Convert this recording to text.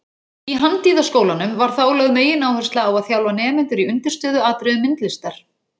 Í Handíðaskólanum var þá lögð megináhersla á að þjálfa nemendur í undirstöðuatriðum myndlistar.